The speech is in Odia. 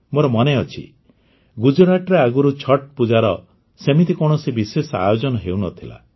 ମୋର ମନେଅଛି ଗୁଜରାଟରେ ଆଗରୁ ଛଠ୍ ପୂଜାର ସେମିତି କୌଣସି ବିଶେଷ ଆୟୋଜନ ହେଉନଥିଲା